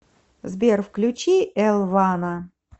сбер включи эл вана